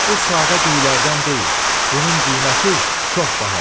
bu sadə düyülərdən deyil, bunun qiyməti çox bahadır.